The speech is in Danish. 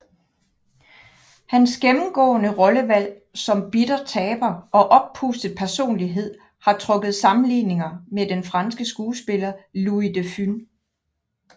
Hans gennemgående rollevalg som bitter taber og oppustet personlighed har trukket sammenligninger med den franske skuespiller Louis de Funès